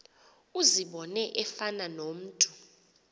uzibone efana nomntu